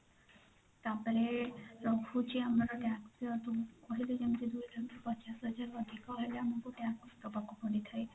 ତାପରେ ରହୁଛି ଆମର tax କହିଲି ଯେମିତି ପଚାଶ ହଜାର ରୁ ଅଧିକ ହେଲେ ଆମକୁ tax ଦବାକୁ ପଡିଥାଏ